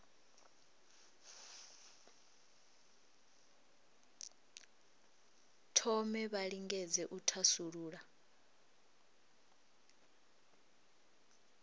thome vha lingedze u thasulula